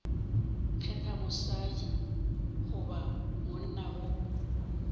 kgetha mosadi goba monna go